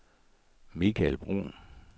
Mikael Bruhn